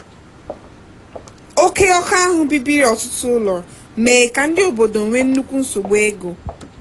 oke ọkụ ahụ bibiri ọtụtụ ụlọ mee ka ndị obodo nwee nnukwu nsogbu ego.